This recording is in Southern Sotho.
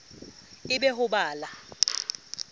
e be ho ba la